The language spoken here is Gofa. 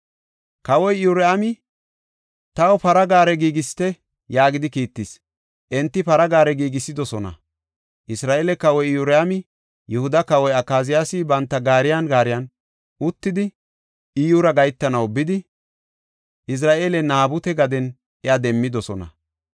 Kawoy Iyoraami, “Taw para gaare giigisite” yaagidi kiittis. Enti para gaare giigisidosona; Isra7eele kawoy Iyoraami Yihuda kawoy Akaziyaasi banta gaariyan gaariyan uttidi, Iyyura gahetanaw bidi, Izra7eele Naabute gaden iya demmidosona.